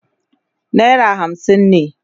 naira hamsin ne